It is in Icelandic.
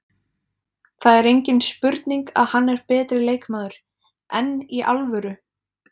Það er engin spurning að hann er betri leikmaður, enn í alvöru?